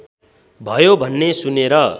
भयो भन्ने सुनेर